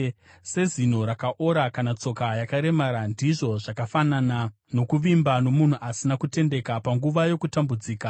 Sezino rakaora kana tsoka yakaremara, ndizvo zvakafanana nokuvimba nomunhu asina kutendeka panguva yokutambudzika.